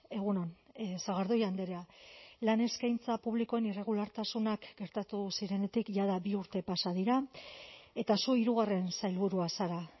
egun on sagardui andrea lan eskaintza publikoen irregulartasunak gertatu zirenetik jada bi urte pasa dira eta zu hirugarren sailburua zara